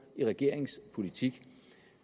i regeringens politik